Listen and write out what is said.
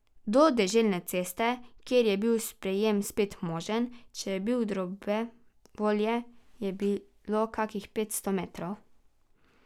Do deželne ceste, kjer je bil sprejem spet možen, če je bil dobre volje, je bilo kakih petsto metrov.